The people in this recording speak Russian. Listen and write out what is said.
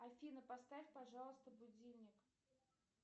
афина поставь пожалуйста будильник